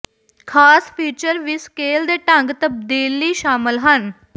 ਖਾਸ ਫੀਚਰ ਵੀ ਸਕੇਲ ਦੇ ਢੰਗ ਤਬਦੀਲੀ ਸ਼ਾਮਲ ਹਨ